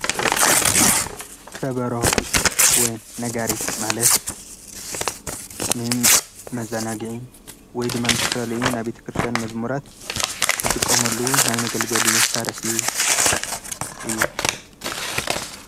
ከበሮ ወይ ነጋሪት ማለት ንመዘናግዒ ወይ ድማ ንዝተፈላለዩ ናይ ቤተ ክርስቲያን መዝሙራት ዝጥቀሙሉ ናይ መገልገሊ መሳርሒ እዩ፡፡